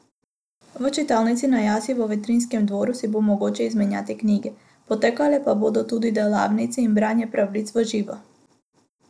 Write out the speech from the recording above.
V Čitalnici na jasi v Vetrinjskem dvoru si bo mogoče izmenjati knjige, potekale pa bodo tudi delavnice in branje pravljic v živo.